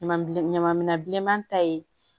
Ɲaman ɲaman minɛn bilenman ta ye